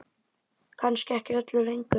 Kannski ekki öllu lengur?